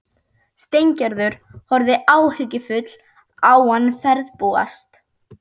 Steingerður horfði áhyggjufull á hann ferðbúast.